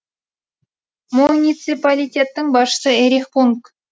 муниципалитеттің басшысы эрих пунг